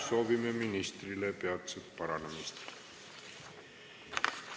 Soovime ministrile peatset paranemist!